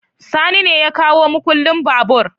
Sani ne ya kawo mukullin babur